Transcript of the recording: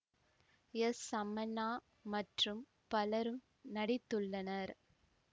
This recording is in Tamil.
எஸ் சமண்ணா மற்றும் பலரும் நடித்துள்ளனர்